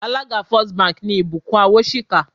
Alága First Bank ni Ìbùkún Awóṣìkà